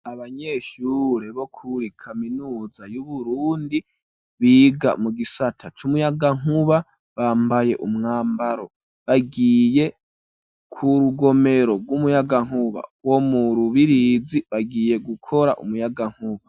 Abanyeshure bo kuri kaminuza y'Uburundi, biga mu gisata c'umuyagankuba, bambaye umwambaro bagiye ku rugomero rw'umuyagankuba wo mu Rubirizi, bagiye gukora umuyagankuba.